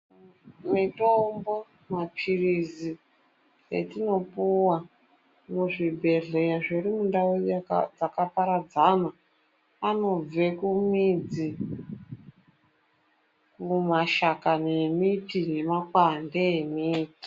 Mitombo, maphirizi etinopuwa muzvibhedhlera zviri mundau dzakaparadzana, anobve kumidzi, mumashakani emiti nemakwande emiti.